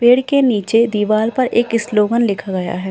पेड़ के नीचे दीवाल पर एक इसलोगन लिखा गया है।